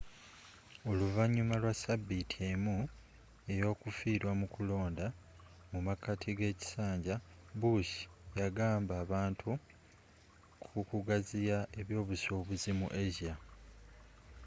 oluvanyuma lwa sabiiti emu eyokufiirwa mu kulonda mumakati gekisanja bush yuagamba abantu ku kugaziya ebyobusuubuzi mu asia